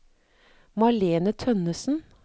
Malene Tønnessen